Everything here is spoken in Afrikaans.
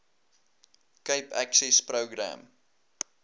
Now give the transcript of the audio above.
cape access program